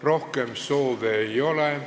Rohkem kõnesoove ei ole.